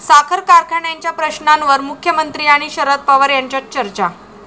साखर कारखान्यांच्या प्रश्नांवर मुख्यमंत्री आणि शरद पवार यांच्यात चर्चा